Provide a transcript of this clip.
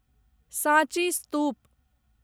साँची स्तूप